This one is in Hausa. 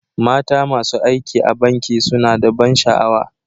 Mata masu aiki a banki suna da ban sha'awa.